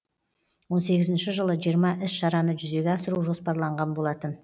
он сегізінші жылы жиырма іс шараны жүзеге асыру жоспарланған болатын